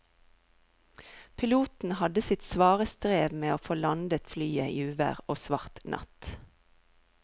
Piloten hadde sitt svare strev med å få landet flyet i uvær og svart natt.